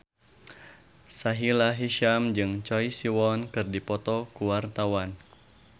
Sahila Hisyam jeung Choi Siwon keur dipoto ku wartawan